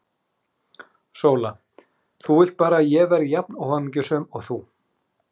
SÓLA: Þú vilt bara að ég verði jafn óhamingjusöm og þú!